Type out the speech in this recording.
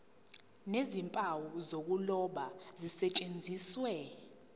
nezimpawu zokuloba zisetshenziswe